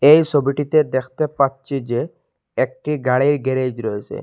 এই সবিটিতে দেখতে পাচ্ছি যে একটি গাড়ির গ্যারেজ রয়েছে।